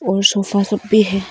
और सोफा सब पे है।